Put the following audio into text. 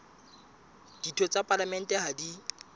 ditho tsa palamente ha di